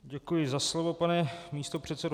Děkuji za slovo, pane místopředsedo.